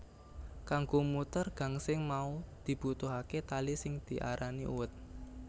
Kanggo muter gangsing mau dibutuhaké tali sing diarani uwet